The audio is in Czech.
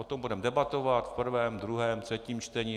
O tom budeme debatovat v prvém, druhém, třetím čtení.